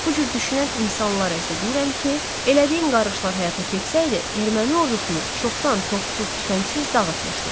Bu cür düşünən insanlara isə deyirəm ki, elədiyim qarğışlar həyata keçsəydi, erməni ordusunu çoxdan topsuz, tüfəngsiz dağıtmışdım.